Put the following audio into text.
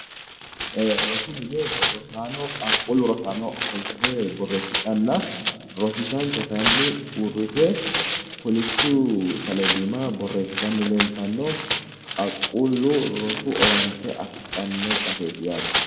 Rosu mine rosaano qaaqqullu rosaano ofollite boreesidhana rosiisancho kayinni uuritte kolishshu saleedi iima boreeessitanni leelitano qaaqqullu rosu owaante afidhanno baseti yaate